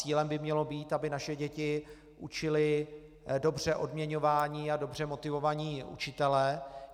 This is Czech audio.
Cílem by mělo být, aby naše děti učili dobře odměňovaní a dobře motivovaní učitelé.